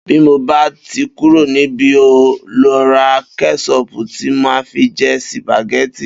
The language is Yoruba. Bí mo bá ti kúró níbí, n óò lo̩ ra ké̩só̩ò̩̀pù tí màá fi je̩ sìpàgé̩tì